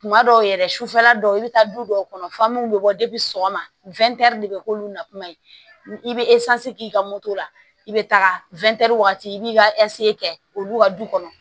Kuma dɔw yɛrɛ sufɛla dɔw i bɛ taa du dɔw kɔnɔ u bɛ bɔ sɔgɔma de bɛ k'olu na kuma ye i bɛ k'i ka moto la i bɛ taga wagati i b'i ka kɛ olu ka du kɔnɔ